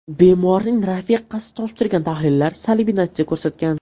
Bemorning rafiqasi topshirgan tahlillar salbiy natija ko‘rsatgan.